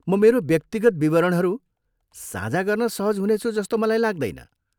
म मेरो व्यक्तिगत विवरणहरू साझा गर्न सहज हुनेछु जस्तो मलाई लाग्दैन।